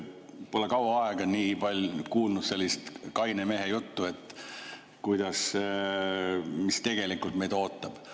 Pole kaua aega nii palju kuulnud sellist kaine mehe juttu, mis meid tegelikult ees ootab.